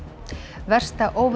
versta óveður